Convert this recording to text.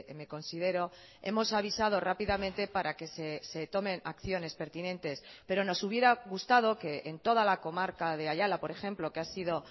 me considero hemos avisado rápidamente para que se tomen acciones pertinentes pero nos hubiera gustado que en toda la comarca de ayala por ejemplo que ha sido